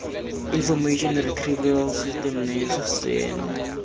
information retrieval system naairs seno